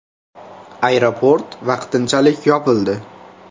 Aeroport vaqtinchalik yopildi.